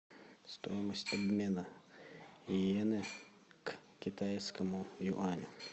стоимость обмена иены к китайскому юаню